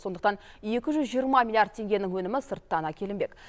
сондықтан екі жүз жиырма миллиард теңгенің өнімі сырттан әкелінбек